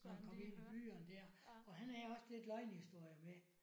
Når han kom ind i byerne der og han havde også lidt løgnehistorier med